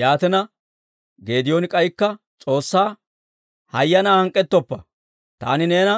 Yaatina, Geedooni k'aykka S'oossaa, «Hayanaa hank'k'ettoppa! Taani neena